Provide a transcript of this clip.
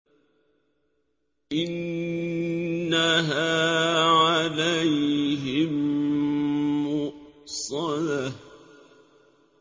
إِنَّهَا عَلَيْهِم مُّؤْصَدَةٌ